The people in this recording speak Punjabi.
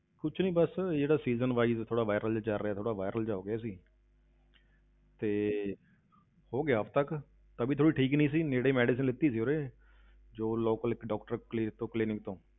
ਕੁਛ ਨੀ ਬਸ ਜਿਹੜਾ season wise ਥੋੜ੍ਹਾ viral ਜਿਹਾ ਚੱਲ ਰਿਹਾ, ਥੋੜ੍ਹਾ viral ਜਿਹਾ ਹੋ ਗਿਆ ਸੀ ਤੇ ਹੋ ਗਿਆ ਹਫ਼ਤਾ ਕੁ, ਤਬੀਅਤ ਥੋੜ੍ਹੀ ਠੀਕ ਨਹੀਂ ਸੀ, ਨੇੜ੍ਹੇ medicine ਲਿੱਤੀ ਸੀ ਉਰੇ ਜੋ ਲੋਕ ਲਿਕ doctor clinic ਤੋਂ clinic ਤੋਂ।